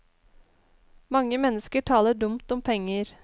Mange mennesker taler dumt om penger.